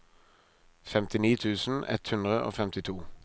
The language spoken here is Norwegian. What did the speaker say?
femtini tusen ett hundre og femtito